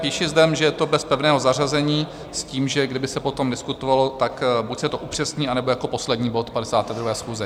Píši zde, že je to bez pevného zařazení, s tím, že kdyby se potom diskutovalo, tak buď se to upřesní, anebo jako poslední bod 52. schůze.